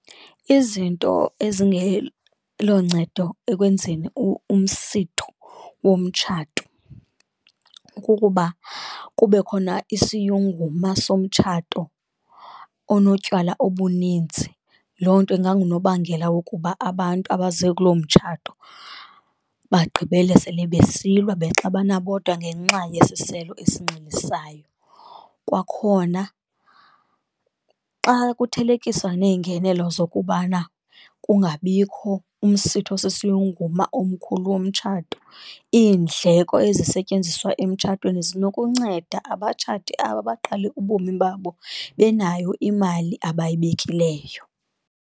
Izinto ezingeloncedo ekwenzeni umsitho womtshato kukuba kube khona isiyunguma somtshato onotywala obuninzi, loo nto ingangunobangela wokuba abantu abaze kuloo mtshato bagqibele sele besilwa, bexabana bodwa ngenxa yesiselo esinxilisayo. Kwakhona xa kuthelekiswa neengenelo zokubana kungabikho umsitho osisiyunguma omkhulu womtshato, iindleko ezisetyenziswa emtshatweni zinokunceda abatshati aba baqale ubomi babo benayo imali abayibekileyo.